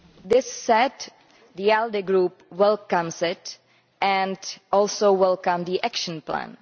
That said, the ALDE Group welcomes it and also welcomes the action plan.